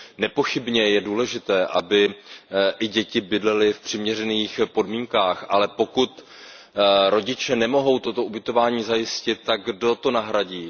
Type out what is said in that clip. Nepochybně je důležité, aby i děti bydlely v přiměřených podmínkách, ale pokud rodiče nemohou toto ubytování zajistit, tak kdo je nahradí?